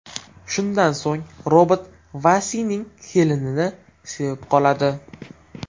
Shundan so‘ng robot Vasining kelinini sevib qoladi.